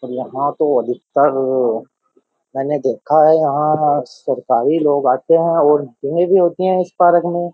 और यहां तो अधिकतर मैंने देखा है यहां सरकारी लोग आते हैं और मीटिंगें भी होती हैं इस पार्क में --